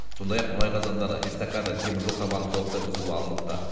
сондай ақ мұнай қазандары мен эсткада теміржол табаны толықтай бұзылып алыныпты